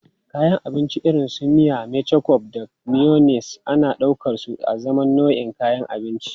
Kayan abinci irin su miya, ketchup da mayonnaise ana ɗaukarsu azaman nau'in kayan abinci.